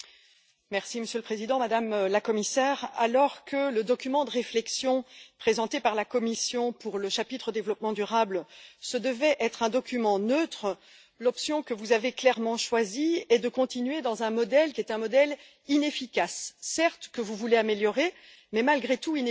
Monsieur le Président, Madame la Commissaire, alors que le document de réflexion présenté par la Commission pour le chapitre développement durable devait être un document neutre, l'option que vous avez clairement choisie est de continuer dans un modèle inefficace, que vous voulez certes améliorer, mais malgré tout inefficace.